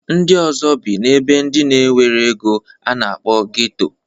Ndị ọzọ bi n'ebe ndị na-enwero ego a na-akpọ geto.